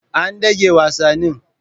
An dage wasannin.